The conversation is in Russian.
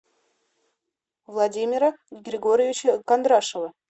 владимира григорьевича кондрашова